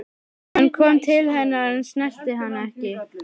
Hann kom til hennar en snerti hana ekki.